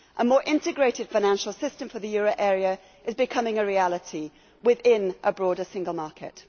A more integrated financial system for the euro area is becoming a reality within a broader single market.